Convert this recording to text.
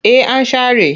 Eh an share.